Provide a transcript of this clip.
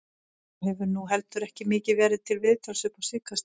Maður hefur nú heldur ekki mikið verið til viðtals upp á síðkastið.